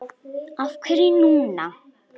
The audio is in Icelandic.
Af hverju núna?